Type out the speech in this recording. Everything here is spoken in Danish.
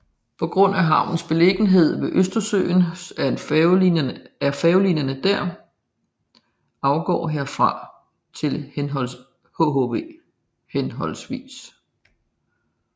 På grund af havnens beliggenhed ved Østersøen er færgelinjerne der afgår herfra til hhv